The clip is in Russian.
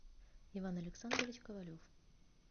иван александрович ковалев